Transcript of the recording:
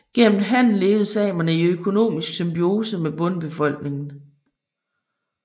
Gennem handel levede samerne i økonomisk symbiose med bondebefolkningen